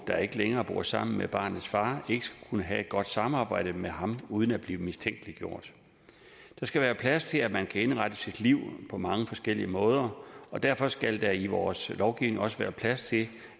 der ikke længere bor sammen med barnets far ikke skulle kunne have et godt samarbejde med ham uden at blive mistænkeliggjort der skal være plads til at man kan indrette sit liv på mange forskellige måder og derfor skal der i vores lovgivning også være plads til